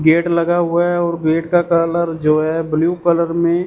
gate लगा हुआ है और गेट का कलर जो है ब्लू कलर में--